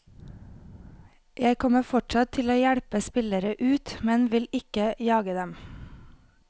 Jeg kommer fortsatt til å hjelpe spillere ut, men vil ikke jage dem.